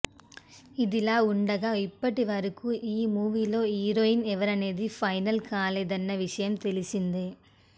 ఇదిలాఉండగా ఇప్పటివరకు ఈ మూవీలో హీరోయిన్ ఎవరనేది ఫైనల్ కాలేదన్న విషయం తెలిసిందే